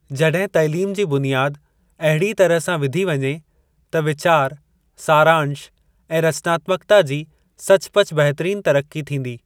जॾहिं तैलीम जी बुनियाद अहिड़ीअ तरह सां विधी वञे, त वीचार, सारांश ऐं रचनात्मक्ता जी सचपच बहितरीन तरक्की थींदी।